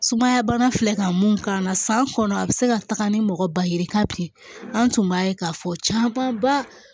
Sumaya bana filɛ ka mun k'a la san kɔnɔ a bɛ se ka taga ni mɔgɔ ba ye ka bilen an tun b'a ye k'a fɔ caman ba